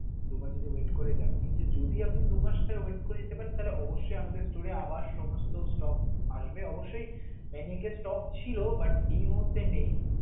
দু মাস যদি wait করে যান, কিন্তু যদি আপনি দু মাস wait করে যেতে পারেন, তাহলে অবশ্যই আমাদের store এ আবার সমস্ত stock আসবে অবশ্যই Maniac ছিল but এই মুহূর্তে নেই.